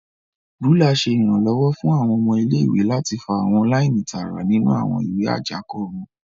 Rúlà ṣe iranlọwọ fún awọn ọmọ ilé-ìwé láti fa awọn laini tààrà nínú awọn ìwé ajako wọn.